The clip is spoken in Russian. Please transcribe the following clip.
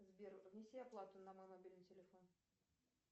сбер внеси оплату на мой мобильный телефон